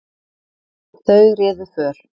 Þau réðu för.